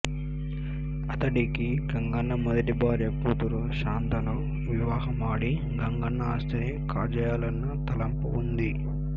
అతడికి గంగన్న మొదటి భార్య కూతురు శాంతను వివాహమాడి గంగన్న ఆస్తిని కాజేయాలన్న తలంపు ఉంది